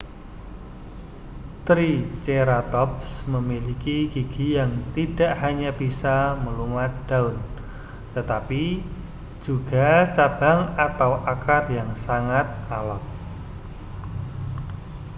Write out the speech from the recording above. triceratops memiliki gigi yang tidak hanya bisa melumat daun tetapi juga cabang atau akar yang sangat alot